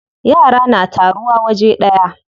Yara na taruwa waje daya.